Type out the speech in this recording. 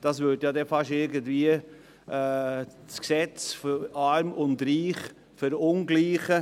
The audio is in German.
Das Gesetz wäre nicht mehr gleich für Arm und Reich;